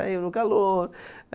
Aí eu no calor.